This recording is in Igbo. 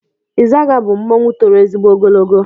Ịzaga bụ mmanwụ toro ezigbo ogologo.